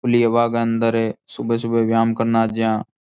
खुली हवा गे अंदर सुबह सुबह व्यायाम करण आज्यां।